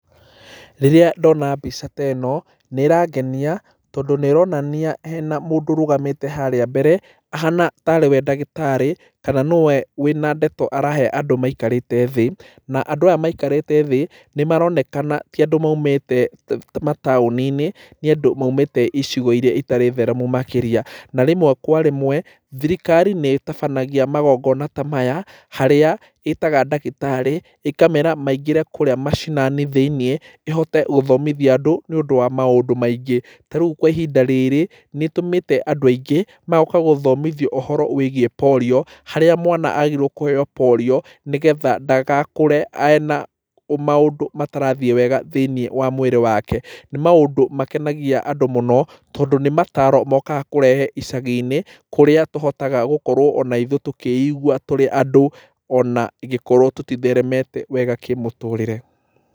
Rĩrĩa ndona mbica teno nĩ ĩrangenia tondũ nĩronania hena mũndũ ũrũgamĩte harĩa mbere, ahana tarĩwe ndagĩtarĩ, kana nĩwe wĩna ndeto arahe andũ maikarĩte thĩ, na andũ aya maikarĩrte thĩ nĩ maronekana tiandũ maimĩte mataũni-inĩ, nĩandũ maimĩte icigo iria itarĩ theremu makĩria, na rĩmwe kwa rĩmwe thirikari nĩ ĩtabanagia magongona tamaya harĩa ĩtaga ndagĩtarĩ, ĩkamera maingĩre kũrĩa macinani thĩinĩ, íĩhote gũthomithia andũ nĩ ũndũ wa maũndũ maingĩ, tarĩu kwa ihinda rĩrĩ nĩ ĩtũmĩte andũ aingĩ magoka kũthomitho ũhoro wĩgie porio, harĩa mwana agĩrĩirwo kũheyo porio nĩgetha ndagakũre ena maũndũ matarathiĩ wega thĩinĩ wa mwĩrĩ wake, nĩ maũndũ makenagia andũ mũno, tondũ nĩ mataro mokaga kũrehe icagi-inĩ kũrĩa tũhotaga gũkorwo onaithuĩ tũkĩigwa tũrĩ andũ onangĩkorwo tũtitheremete wega kĩmũtũrĩre.